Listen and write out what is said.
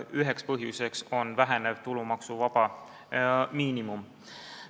Üheks põhjuseks on vähenev tulumaksuvaba miinimum.